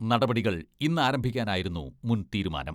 നടപടികൾ ഇന്നാരംഭിക്കാനായിരുന്നു മുൻ തീരുമാനം.